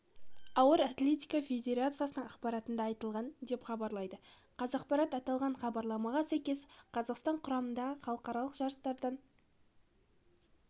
ауыр атлетика федерациясының ақпаратында айтылған деп хабарлайды қазақпарат аталған хабарламаға сәйкес қазақстан құрамасы халықаралық жарыстардан